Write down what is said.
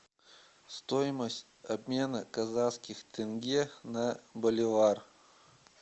стоимость обмена казахских тенге на боливар